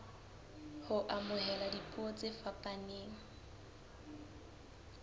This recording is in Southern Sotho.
ho amohela dipuo tse fapaneng